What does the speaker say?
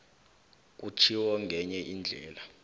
kutjhiwo ngenye indlela